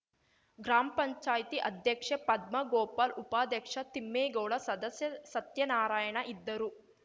gram panchayat ಅಧ್ಯಕ್ಷೆ ಪದ್ಮ ಗೋಪಾಲ್‌ ಉಪಾಧ್ಯಕ್ಷ ತಿಮ್ಮೇಗೌಡ ಸದಸ್ಯ ಸತ್ಯನಾರಾಯಣ ಇದ್ದರು